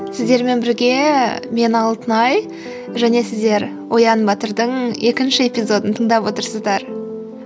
сіздермен бірге мен алтынай және сіздер оян батырдың екінші эпизодын тыңдап отырсыздар